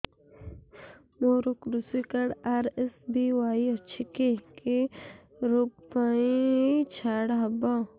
ମୋର କୃଷି card RSBY ଅଛି କି କି ଋଗ ପାଇଁ ଛାଡ଼ ହବ